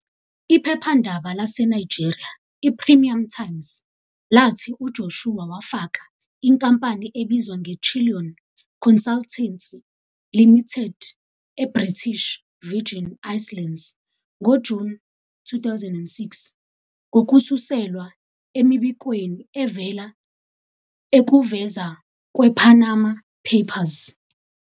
Iphephandaba laseNigeria i-Premium Times lathi uJoshua wafaka inkampani ebizwa ngeChillon Consultancy Limited eBritish Virgin Islands ngoJuni 2006, ngokususelwa emibikweni evela ekuvuza kwePanama Papers.